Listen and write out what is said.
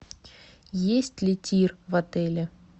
есть ли тир в отеле